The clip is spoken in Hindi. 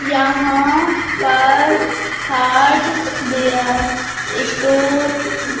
यहां पर हार्डवेयर स्टोर